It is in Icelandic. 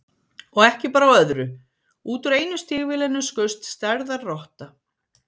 Og ekki bar á öðru, út úr einu stígvélinu skaust stærðar rotta.